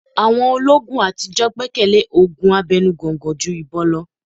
Àwọn olóogun àtijọ́ gbẹ́kẹ̀lé òògùn abẹnu gọ̀ǹgọ̀ ju ìbọn lọ.